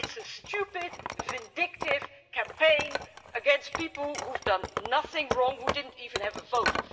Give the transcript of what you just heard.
It's a stupid vindictive campaign against people who have done nothing wrong, who didn't even have a vote.